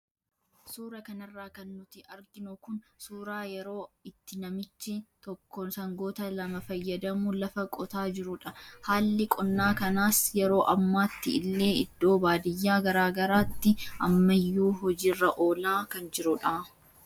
Suura kanarraa kan nuti arginu kun suuraa yeroo itti namichi tokko sangoota lama fayyadamuun lafa qotaa jiruudha. Haalli qonnaa kanaas yeroo ammaatti illee iddoo baadiyyaa garaagaraa tti ammayyuu hojiirra oola kan jirudha.